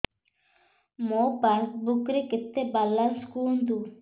ମୋ ପାସବୁକ୍ ରେ କେତେ ବାଲାନ୍ସ କୁହନ୍ତୁ